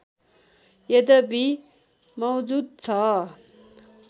यद्यपि मौजुद छ